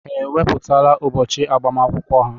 Ha ewepụtala ụbọchị agbamakwụkwọ ha?